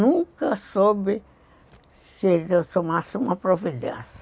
Nunca soube se ele tomasse uma providência.